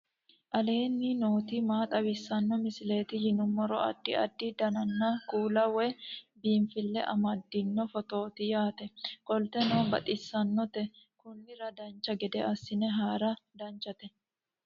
aleenni nooti maa xawisanno misileeti yinummoro addi addi dananna kuula woy biinsille amaddino footooti yaate qoltenno baxissannote konnira dancha gede assine haara danchate